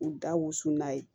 U da wusu n'a ye